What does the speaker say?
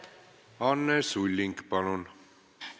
Anne Sulling, palun!